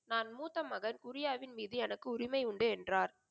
நான் மூத்த மகன் குரியாவின் மீது எனக்கு உரிமை உண்டு என்றார்.